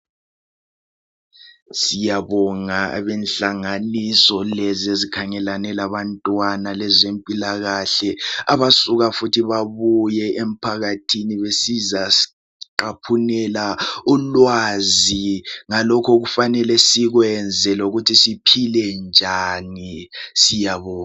Siyabonga abenhlanganiso lezi ezikhangelane labantwana lezempilakahle abasuka futhi babuye emphakathini besizasi qaphunela ulwazi ngalokho okufanele sikwenze lokuthi siphile njani siyabonga.